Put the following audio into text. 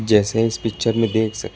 जैसा इस पिक्चर में देख सक--